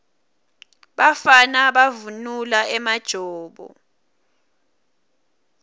bafana bavunula emajobo